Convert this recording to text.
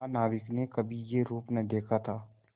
महानाविक ने कभी यह रूप न देखा था